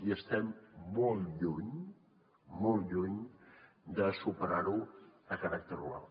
i estem molt lluny molt lluny de superar ho amb caràcter global